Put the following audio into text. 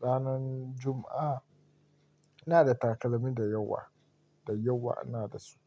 ranan Juma'a. Ina da takalmi dayawa, dayawa ina da su.